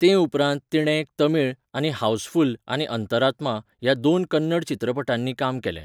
ते उपरांत, तिणें एक तमीळ, आनी हावसफुल्ल आनी अंतरात्मा ह्या दोन कन्नड चित्रपटांनी काम केलें.